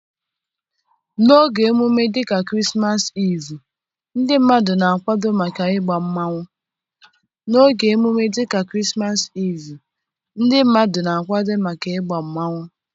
n'oge ememme dị ka krismasi Evuo, ndị mmadụ na-akwado maka egba mmanwu.